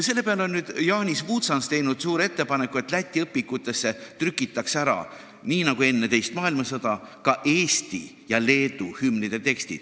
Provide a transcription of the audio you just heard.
Selle peale on nüüd Janis Vucans teinud ettepaneku, et Läti õpikutes trükitaks ära – nii nagu oli enne teist maailmasõda – ka Eesti ja Leedu hümni tekst.